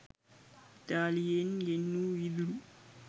ඉතාලියෙන් ගෙන්වූ වීදුරු